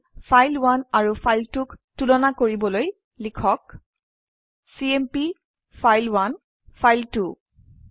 আমি ফাইল1 আৰু ফাইল2 ক তুলনা কৰিবলৈ লিখক চিএমপি ফাইল1 ফাইল2